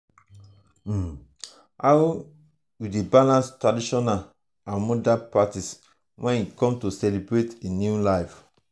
um how you dey balance traditional and modern practices when e come to celebrate a new life?